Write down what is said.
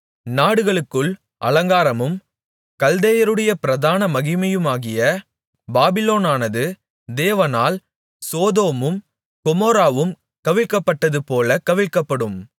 நாடுகளுக்குள் அலங்காரமும் கல்தேயருடைய பிரதான மகிமையுமாகிய பாபிலோனானது தேவனால் சோதோமும் கொமோராவும் கவிழ்க்கப்பட்டதுபோல கவிழ்க்கப்படும்